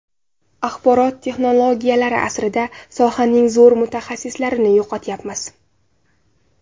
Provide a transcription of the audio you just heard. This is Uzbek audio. Axborot-texnologiyalari asrida sohaning zo‘r mutaxassislarini yo‘qotyapmiz.